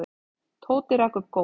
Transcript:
Tóti rak upp gól.